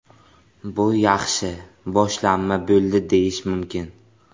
Bu yaxshi boshlanma bo‘ldi deyish mumkin.